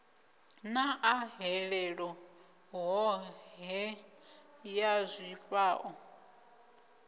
na ahelelo hohe ya zwifhao